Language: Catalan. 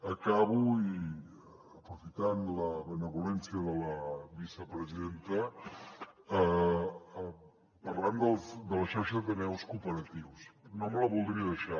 acabo i aprofitant la benevolència de la vicepresidenta parlem de la xarxa d’ateneus cooperatius no me la voldria deixar